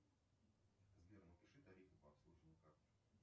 сбер напиши тарифы по обслуживанию карты